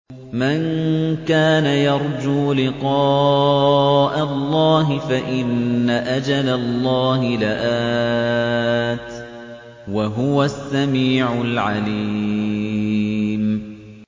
مَن كَانَ يَرْجُو لِقَاءَ اللَّهِ فَإِنَّ أَجَلَ اللَّهِ لَآتٍ ۚ وَهُوَ السَّمِيعُ الْعَلِيمُ